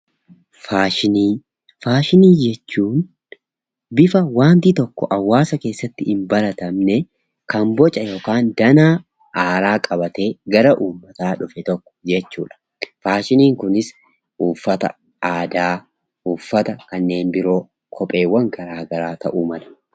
Faashinii: Faashinii jechuun bifa wanti tokko hawaasaa keessatti hin baratamneen kan boca yookaan danaa haaraa qabatee gara uummataa dhufe tokko jechuudha. Faashiniin kunis uffata aadaa, uffata kanneen biroo, kopheewwan gara garaa ta'uu mala.